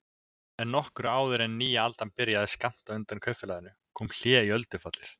En nokkru áður en nýja aldan byrjaði skammt undan kaupfélaginu kom hlé í öldufallið.